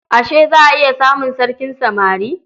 Ashe za a iya samun sarkin samari?